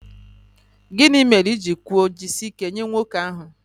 Gị mere i ji kwuo 'jisie ike' nye nwoke ahụ